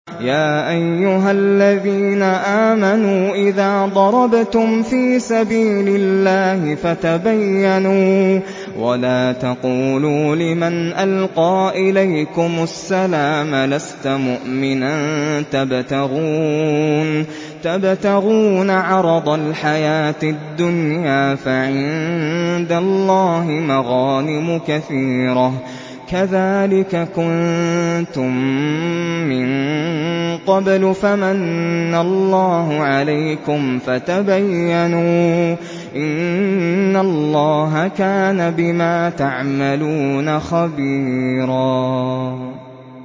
يَا أَيُّهَا الَّذِينَ آمَنُوا إِذَا ضَرَبْتُمْ فِي سَبِيلِ اللَّهِ فَتَبَيَّنُوا وَلَا تَقُولُوا لِمَنْ أَلْقَىٰ إِلَيْكُمُ السَّلَامَ لَسْتَ مُؤْمِنًا تَبْتَغُونَ عَرَضَ الْحَيَاةِ الدُّنْيَا فَعِندَ اللَّهِ مَغَانِمُ كَثِيرَةٌ ۚ كَذَٰلِكَ كُنتُم مِّن قَبْلُ فَمَنَّ اللَّهُ عَلَيْكُمْ فَتَبَيَّنُوا ۚ إِنَّ اللَّهَ كَانَ بِمَا تَعْمَلُونَ خَبِيرًا